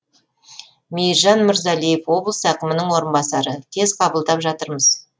мейіржан мырзалиев облыс әкімінің орынбасары тез қабылдап жатырмыз